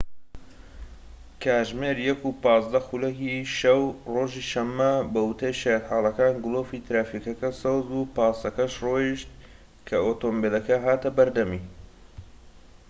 کاتژمێر ١:١٥ خولەکی شەو، ڕۆژی شەمە، بەوتەی شایەتحاڵەکان، گلۆپی ترافیکەکە سەوز بوو پاسەکەش ڕۆیشت کە ئۆتۆمبیلەکە هاتە بەردەمی